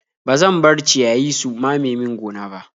Ba zan bar ciyayi su mamaye min gona ba.